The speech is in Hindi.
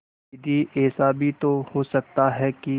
दीदी ऐसा भी तो हो सकता है कि